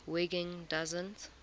wiggin doesn t